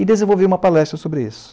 E desenvolvi uma palestra sobre isso.